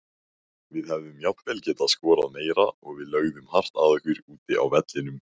Við hefðum jafnvel getað skorað meira og við lögðum hart að okkur úti á vellinum.